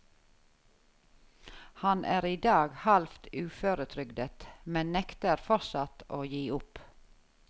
Han er i dag halvt uføretrygdet, men nekter fortsatt å gi opp.